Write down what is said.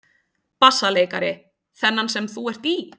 BASSALEIKARI: Þennan sem þú ert í?